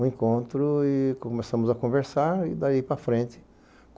Um encontro e começamos a conversar e dalí para frente.